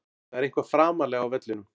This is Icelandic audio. Það er eitthvað framarlega á vellinum.